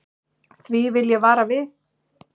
Því vil ég vara við.